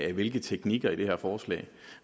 af hvilke teknikaliteter forslag